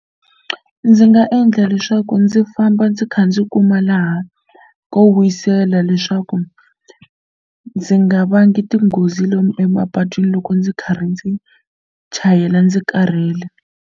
Ndzi nga endla leswaku ndzi famba ndzi kha ndzi kuma laha ko wisela leswaku ndzi nga vangi tinghozi lomu emapatwini loko ndzi karhi ndzi chayela ndzi karhele.